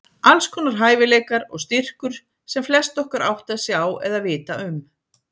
Alls konar hæfileikar og styrkur sem flest okkar ekki átta sig á eða vita um.